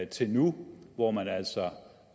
til nu hvor man altså